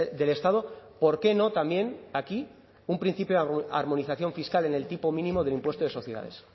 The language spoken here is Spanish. del estado por qué no también aquí un principio de armonización fiscal en el tipo mínimo del impuesto de sociedades